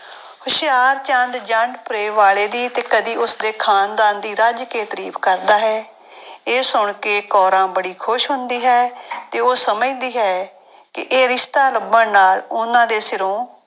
ਹੁਸ਼ਿਆਰਚੰਦ ਜੰਡਪੁਰੇ ਵਾਲੇ ਦੀ ਤੇ ਕਦੇ ਉਸਦੇ ਖਾਨਦਾਨ ਦੀ ਰਜ ਕੇ ਤਾਰੀਫ਼ ਕਰਦਾ ਹੈ ਇਹ ਸੁਣ ਕੇ ਕੋਰਾਂ ਬੜੀ ਖ਼ੁਸ਼ ਹੁੰਦੀ ਹੈ ਤੇ ਉਹ ਸਮਝਦੀ ਹੈ ਕਿ ਇਹ ਰਿਸਤਾ ਲੱਭਣ ਨਾਲ ਉਹਨਾਂ ਦੇ ਸਿਰੋਂ